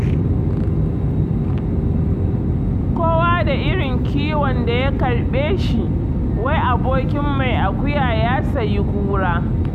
Kowa da irin kiwon da ya karɓe shi, wai abokin mai akuya ya sayi kura.